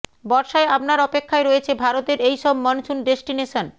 বর্ষায় আপনার অপেক্ষায় রয়েছে ভারতের এই সব মনসুন ডেস্টিনেশন